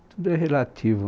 Tudo é relativo.